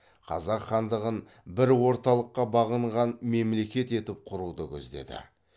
қазақ хандығын бір орталыққа бағынған мемлекет етіп құруды көздеді